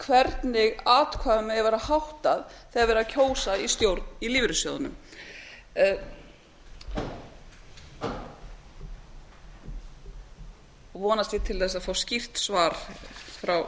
hvernig atkvæðum eigi að vera háttað þegar er verið að kjósa í stjórn í lífeyrissjóðunum vonast ég til að fá skýrt svar frá